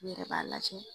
N yɛrɛ b'a lajɛ